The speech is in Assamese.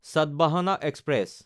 চাটাভাহানা এক্সপ্ৰেছ